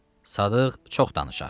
Sadıq çox danışar.